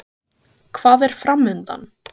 Hvað er framundan?